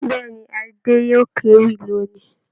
Bẹ̀ẹ́ni, Adé yóò kéwì lónì.